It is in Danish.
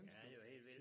Ja det var helt vildt